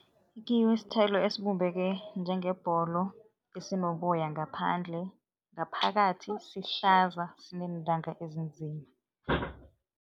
I-kiwi sithelo esibumbeke njengebholo, esinoboya ngaphandle, ngaphakathi sihlaza, sineentanga ezinzima.